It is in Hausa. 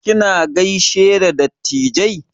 Kina gaishe da dattijai?